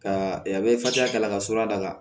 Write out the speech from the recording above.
Ka a bɛ fasa kala ka sɔrɔ a da la